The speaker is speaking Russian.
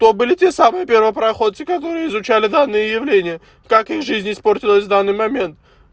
то были те самые первопроходцы которые изучали данные явления как их жизнь испортилась в данный момент